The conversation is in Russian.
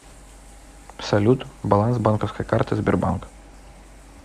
салют баланс банковской карты сбербанк